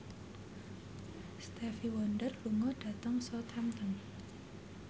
Stevie Wonder lunga dhateng Southampton